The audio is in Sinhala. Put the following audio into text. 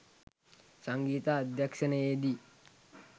සංගීත අධ්‍යක්‍ෂණයේ දී